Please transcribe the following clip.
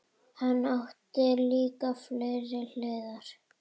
Hann átti líka fleiri hliðar.